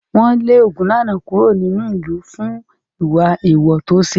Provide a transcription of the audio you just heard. Wọ́n lé Ogunlana kúrò nínú ìlú fún ìwà èèwọ̀ tó ṣe.